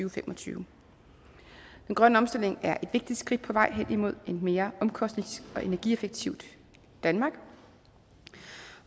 og fem og tyve den grønne omstilling er et vigtigt skridt på vej hen imod et mere omkostnings og energieffektivt danmark